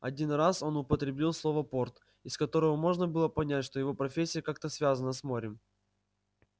один раз он употребил слово порт из которого можно было понять что его профессия как-то связана с морем